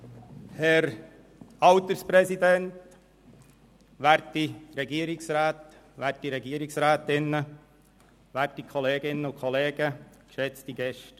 Herr Alterspräsident, werte Regierungsräte, werte Regierungsrätinnen, werte Kolleginnen und Kollegen, geschätzte Gäste.